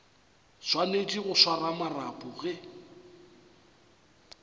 swanetše go swara marapo ge